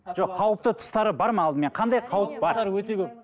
жоқ қауіпті тұстары бар ма алдымен қандай қауіп бар өте көп